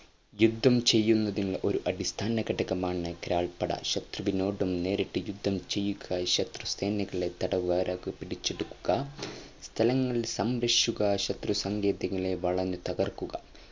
യുദ്ധം ചെയ്യുന്നതിൽ ഒരു അടിസ്ഥാന ഘടകമാണ് കാലാൾപ്പട ശത്രുവിനോട് നേരിട്ടും യുദ്ധം ചെയ്യുക ശത്രുസേനകളെ തടവുകാരാകുക പിടിച്ചെടുത്ത സ്ഥലങ്ങൾ സംരക്ഷിക്കുക ശത്രു സാങ്കേതികളെ വളഞ്ഞു തകർക്കുക